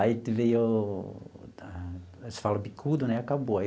Aí veio, se fala bicudo, né, acabou.